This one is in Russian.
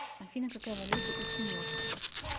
афина какая валюта у тиморцев